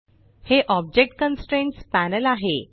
हे object constraints panel आहे